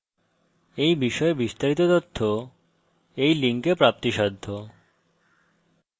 এই বিষয়ে বিস্তারিত তথ্য এই link প্রাপ্তিসাধ্য